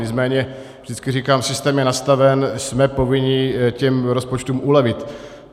Nicméně vždycky říkám, systém je nastaven, jsme povinni těm rozpočtům ulevit.